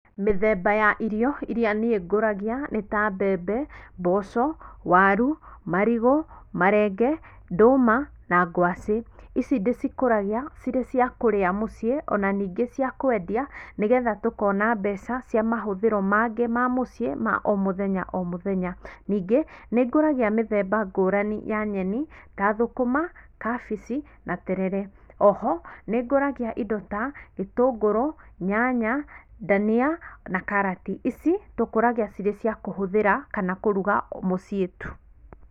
Mĩthemba ya irio irĩa niĩngũragia nĩ ta mbembe, mboco, waru, marigũ, marenge, nduma na ngwacĩ. Ici ndĩcikũragia ci rĩ cia kũrĩa mũciĩ o na ningĩ cia kũendia nĩgetha tũkona mbeca cia mahũthiro mangĩ ma mũciĩ o mũthenya o mũthenya. Ningĩ nĩngũragia mĩthemba ngũrani ya nyeni ta thũkũma, kabici na terere. O ho nĩngũragia indo ta gĩtũngũrũ, nyanya, ndania na karati. Ici tũkũragia cirĩ cia kũhũthĩra kana kũruga muciĩ tu.